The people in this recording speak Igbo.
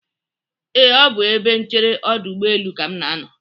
Ee, ọ bụ ebe nchere ọdụ ụgbọlelu ka m nọ.